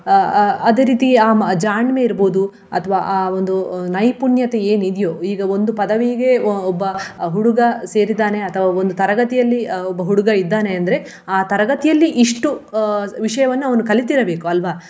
ಅಹ್ ಅಹ್ ಅದೇ ರೀತಿ ಆ ಜಾಣ್ಮೆ ಇರಬಹುದು ಅಥವಾ ಆ ಒಂದು ನೈಪುಣ್ಯತೆ ಏನ್ ಇದ್ಯೋ ಈಗ ಒಂದು ಪದವಿಗೆ ಅಹ್ ಒಬ್ಬ ಹುಡುಗ ಸೇರಿದ್ದಾನೆ ಅಥವಾ ಒಂದು ತರಗತಿಯಲ್ಲಿ ಒಬ್ಬ ಹುಡುಗ ಇದ್ದಾನೆ ಅಂದ್ರೆ ಆ ತರಗತಿಯಲ್ಲಿ ಇಷ್ಟು ಅಹ್ ವಿಷಯವನ್ನು ಅವನು ಕಲಿತಿರಬೇಕು, ಅಲ್ವ?